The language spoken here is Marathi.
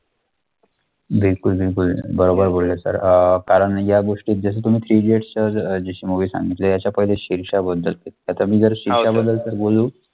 बिलकूल बिलकुल बरोबर बोलले sir अं कारण या गोष्टीत जसं तुम्ही three idiots अं जशी movie सांगितली याच्या पहिले शेरशाहबद्दल आता मी जर शेरशाहबद्दल तर बोलू